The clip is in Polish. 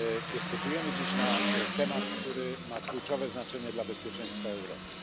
Dyskutujemy dziś na temat, który ma kluczowe znaczenie dla bezpieczeństwa Europy.